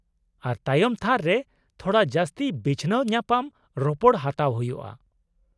-ᱟᱨ ᱛᱟᱭᱚᱢ ᱛᱷᱟᱹᱨ ᱨᱮ ᱛᱷᱚᱲᱟ ᱡᱟᱹᱥᱛᱤ ᱵᱤᱪᱷᱱᱟᱹᱣ ᱧᱟᱯᱟᱢ ᱨᱚᱯᱚᱲ ᱦᱟᱛᱟᱣ ᱦᱩᱭᱩᱜᱼᱟ ᱾